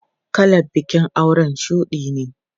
Kalar bikin aure shudi ne.